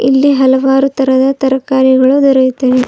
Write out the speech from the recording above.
ಇಲ್ಲಿ ಹಲವಾರು ತರಹದ ತರಕಾರಿಗಳು ದೊರೆಯುತ್ತವೆ.